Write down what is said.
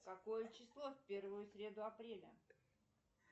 какое число в первую среду апреля